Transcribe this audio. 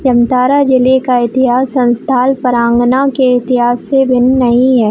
जामताड़ा जिले का इतिहास संथाल पारंगना के इतिहास से भिन्न नहीं है।